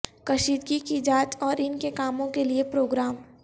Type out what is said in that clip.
کشیدگی کی جانچ اور ان کے کاموں کے لئے پروگرام